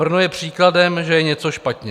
Brno je příkladem, že je něco špatně.